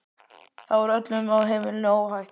Þá var öllum á heimilinu óhætt.